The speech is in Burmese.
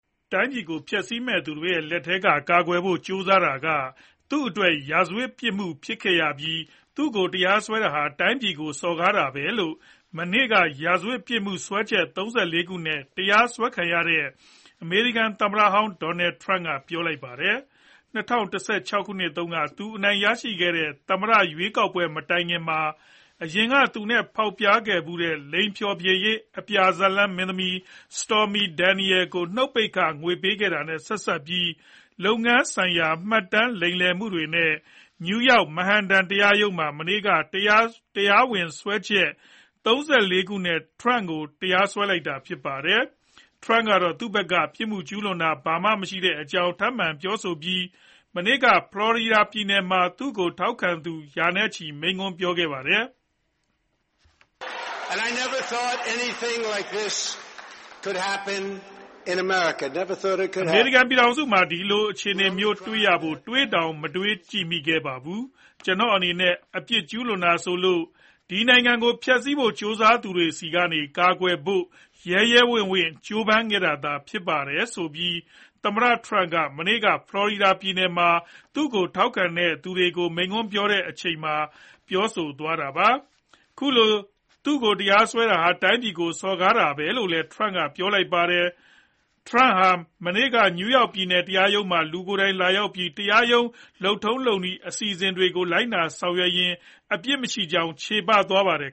တိုင်းပြည်ကို ဖျက်ဆီးမယ့်သူတွေ လက်ထဲက ကာကွယ်ဖို့ ကြိုးစားတာက သူ့အတွက် ရာဇဝတ်ပြစ်မှု ဖြစ်ခဲ့ရပြီး သူ့ကို တရားစွဲတာဟာ တိုင်းပြည်ကို စော်ကားတာလို့ မနေ့က ရာဇဝတ်ပြစ်မှု စွဲချက် ၃၄ ခုနဲ့ တရားစွဲခံလိုက်ရတဲ့ အမေရိကန်သမ္မတဟောင်း ဒေါ်နယ်ထရမ့်က ပြောဆိုပါတယ်။ ၂၀၁၆ တုန်းက သူအနိုင်ရခဲ့တဲ့ သမ္မတရွေးကောက်ပွဲ မတိုင်ခင်မှာ အရင်က သူနဲ့ဖောက်ပြားခဲ့ဖူးတဲ့ လိင်ဖျော်ဖြေရေး အပြားဇာတ်လမ်း မင်းသမီး Stormy Daniels ကို နုတ်ပိတ်ခ ငွေပေးခဲ့တာနဲ့ ဆက်စပ်ပြီး လုပ်ငန်းဆိုင်ရာမှတ်တမ်း လိမ်လည်မှုတွေနဲ့ နယူးယောက် မန်ဟန်တန် တရားရုံးမှာ မနေ့က တရားဝင်စွဲချက် ၃၄ ခုနဲ့ ထရမ့်ကို တရားစွဲလိုက်တာပါ။ ထရမ့်ကတော့ သူ့ဘက်က အပြစ်ကျူးလွန်တာ ဘာမှမရှိခဲ့တဲ့အကြောင်း ထပ်မံပြောဆိုပြီး မနေ့က ဖလော်ရီဒါပြည်နယ်မှာ သူ့ကိုထောက်ခံသူ ရာနဲ့ချီကို မိန့်ခွန်းပြောခဲ့ပါတယ်။ "အမေရိကန်ပြည်ထောင်စုမှာ ဒီလိုအခြေအနေမျိုး တွေ့ရဖို့ တွေးတောင် မတွေးကြည့်မိခဲ့ဖူးပါဘူး။ ကျနော့်အနေနဲ့ အပြစ်ကျူးလွန်တာဆိုလို့ ဒီနိုင်ငံကို ဖျက်စီးဖို့ ကြိုးစားသူတွေထံကနေ ကာကွယ်ဖို့ ရဲရဲဝံ့ဝံ့ ကြိုးပမ်းခဲ့တာသာ ဖြစ်ပါတယ်ဆိုပြီး သမ္မတထရမ့်ပ်က မနေ့က ဖလော်ရီဒါပြည်နယ်မှာ သူ့ကိုထောက်ခံသူတွေကို မိန့်ခွန်းပြောတဲ့အချိန် ပြောဆိုသွားတာပါ။ သူ့ကို ခုလို တရားစွဲတာဟာ တိုင်းပြည်ကို စော်ကားတာလို့လည်း ထရမ့်က ပြောပါတယ်။ ထရမ့်ဟာ မနေ့က နယူးယောက်ပြည်နယ် တရားရုံးမှာ လူကိုယ်တိုင် လာရောက်ပြီး တရားရုံး လုပ်ထုံးလုပ်နည်း အစီအစဉ်တွေကို လိုက်နာဆောင်ရွက်ရင်း အပြစ်မရှိကြောင်း ချေပသွားခဲ့ပါတယ်